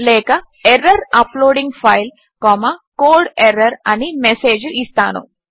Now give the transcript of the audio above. లేక error uploading file code error అని message ఇస్తాను